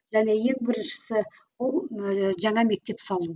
және ең біріншісі ол ыыы жаңа мектеп салу